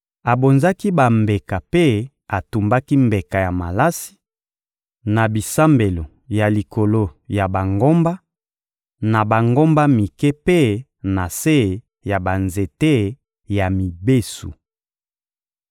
Abonzaki bambeka mpe atumbaki mbeka ya malasi, na bisambelo ya likolo ya bangomba, na bangomba mike mpe na se ya banzete ya mibesu.